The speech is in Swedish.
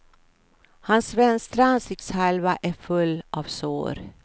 Hans vänstra ansiktshalva är full av sår.